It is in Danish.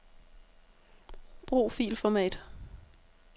Brug filformat.